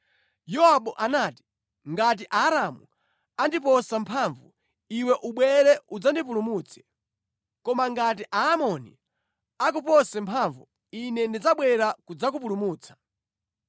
Yowabu anati, “Ngati Aaramu andipose mphamvu, iwe ubwere udzandipulumutse. Koma ngati Aamoni akupose mphamvu, ine ndidzabwera kudzakupulumutsa.